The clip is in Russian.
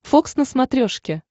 фокс на смотрешке